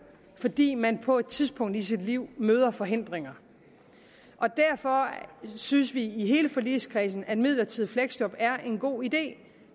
fordi man på et tidspunkt i sit liv møder forhindringer derfor synes vi i hele forligskredsen at midlertidige fleksjob er en god idé